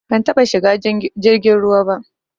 Ban taɓa shiga jirgin ruwa ba.